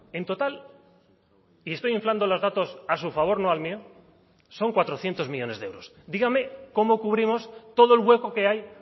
en total y estoy inflando los datos a su favor no al mío son cuatrocientos millónes de euros dígame cómo cubrimos todo el hueco que hay